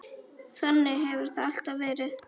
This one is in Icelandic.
Þannig hefur það alltaf verið.